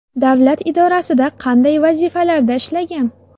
Davlat idorasida qanday vazifalarda ishlagan?